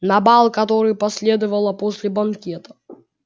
на бал который последовала после банкета